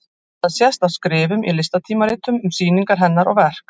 Það sést af skrifum í listatímaritum um sýningar hennar og verk.